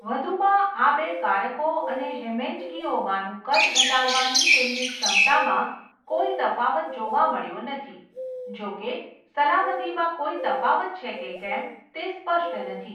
વધુમાં, આ બે કારકો અને હેમેન્જેગીઓમાનું કદ ઘટાડવાની તેમની ક્ષમતામાં કોઈ તફાવત જોવા મળ્યો નથી, જોકે, સલામતીમાં કોઈ તફાવત છે કે કેમ તે સ્પષ્ટ નથી.